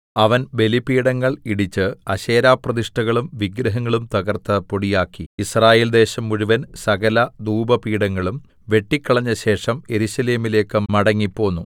അവൻ ബലിപീഠങ്ങൾ ഇടിച്ച് അശേരാപ്രതിഷ്ഠകളും വിഗ്രഹങ്ങളും തകർത്ത് പൊടിയാക്കി യിസ്രായേൽദേശം മുഴുവൻ സകല ധൂപപീഠങ്ങളും വെട്ടിക്കളഞ്ഞ ശേഷം യെരൂശലേമിലേക്ക് മടങ്ങിപ്പോന്നു